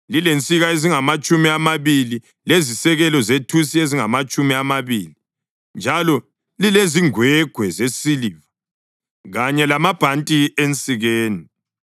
lilensika ezingamatshumi amabili lezisekelo zethusi ezingamatshumi amabili, njalo lilezingwegwe zesiliva kanye lamabhanti ensikeni.